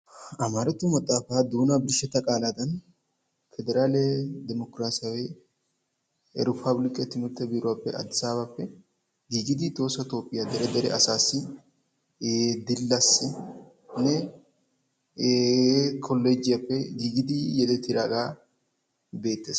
Amaratto maxafaa doonaa birshshetta qaallaaddan, pederalle demokkirassawe erepabillikke timirtte biruwaappe Adisaabappe giggidi, Tohossa Toophphiya dere dere asassi Dillassinne ee kolejiyaappe gigidi yedettidaaga beettes.